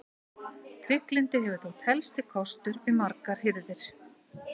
Trygglyndi hefur þótt helsti kostur við margar hirðir.